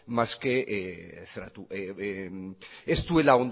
más que ez duela